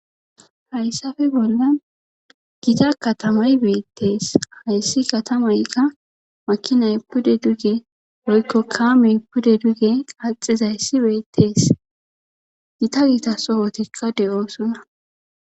Hayssafe bollan gita katamay beettees hayssi katamaykka makinay pude duge woykko kaamey pudu duge qaaxizayssi beettees gita gita sohotikka de7ooson.a